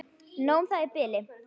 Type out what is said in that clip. Nóg um það í bili.